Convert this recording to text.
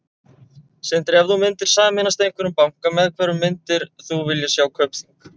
Sindri: Ef þú myndir sameinast einhverjum banka, með hverjum myndir þú vilja sjá Kaupþing?